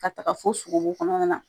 Ka taga fo sogobu kɔnɔna na